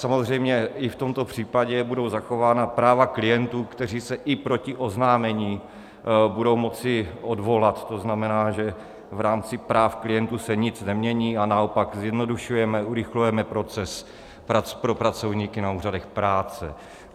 Samozřejmě i v tomto případě budou zachována práva klientů, kteří se i proti oznámení budou moci odvolat, to znamená, že v rámci práv klientů se nic nemění, a naopak zjednodušujeme, zrychlujeme proces pro pracovníky na úřadech práce.